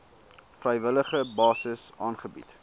vrywillige basis aangebied